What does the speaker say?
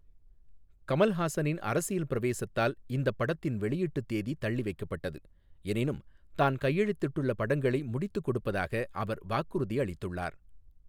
கமல்ஹாசனின் அரசியல் பிரவேசத்தால் இந்தப் படத்தின் வெளியீட்டுத் தேதி தள்ளிவைக்கப்பட்டது, எனினும் தான் கையெழுத்திட்டுள்ள படங்களை முடித்துக் கொடுப்பதாக அவர் வாக்குறுதி அளித்துள்ளார்.